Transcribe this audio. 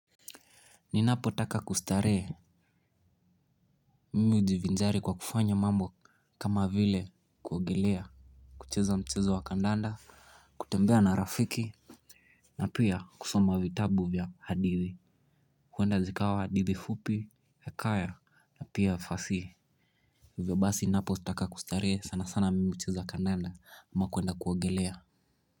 Ninapotaka kustarehe mimi hujivinjari kwa kufanya mambo kama vile kuogelea, kucheza mchezo wa kandanda. Kutembea na rafiki na pia kusoma vitabu vya hadithi. Huenda likawa hadithi fupi hekaya na pia fasihi. Hivyo basi ninapotaka kustarehe sana sana mimi hucheza kandanda ama kuenda kuogelea.